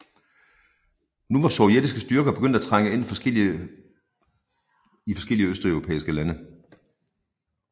Nu var sovjetiske styrker begyndt at trænge ind i forskellige østeuropæiske lande